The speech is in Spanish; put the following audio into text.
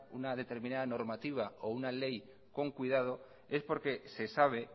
una determinada normativa o una ley con cuidado es